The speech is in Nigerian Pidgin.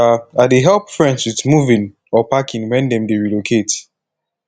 um i dey help friends with moving or packing wen dem dey relocate